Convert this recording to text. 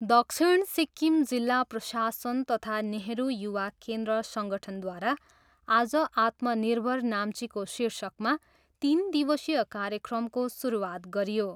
दक्षिण सिक्किम जिल्ला प्रशासन तथा नेहरू युवा केन्द्र सङ्गठनद्वारा आज आत्मनिर्भर नाम्चीको शीर्षकमा तिन दिवसीय कार्यक्रमको सुरुवात गरियो।